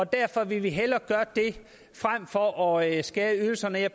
derfor ville vi hellere gøre det frem for at skære i ydelserne jeg